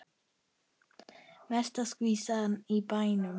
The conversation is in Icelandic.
Mesta skvísan í bænum.